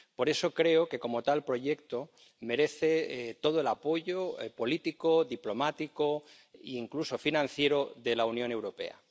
Por eso creo que, como tal proyecto, merece todo el apoyo político, diplomático e incluso financiero de la Unión Europea.